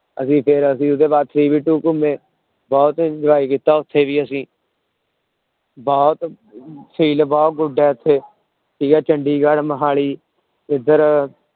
ਅਸੀਂ ਫਿਰ ਅਸੀਂ ਉਹਦੇ ਬਾਅਦ three B two ਘੁੰਮੇ, ਬਹੁਤ enjoy ਕੀਤਾ ਉੱਥੇ ਵੀ ਅਸੀਂ ਬਹੁਤ feel ਬਹੁਤ good ਹੈ ਇੱਥੇ ਠੀਕ ਹੈ ਚੰਡੀਗੜ੍ਹ ਮੁਹਾਲੀ ਇੱਧਰ